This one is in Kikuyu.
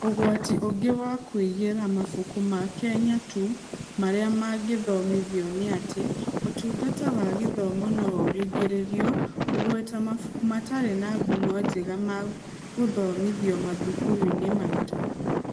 Ũgwati ũngĩ wa kũigĩra mabuku ma Kenya tu marĩa mangĩthomithio nĩ atĩ, Ũtungata wa Gĩthomo no ũringĩrĩrio kũgweta mabuku matarĩ na ngumo njega ma gũthomithio mathukuru-inĩ maitũ.